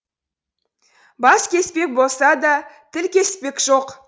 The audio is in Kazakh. бас кеспек болса да тіл кеспек жоқ